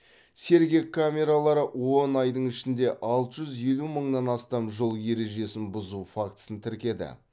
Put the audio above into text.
сергек камералары он айдың ішінде алты жүз елу мыңнан астам жол ережесін бұзу фактісін тіркеді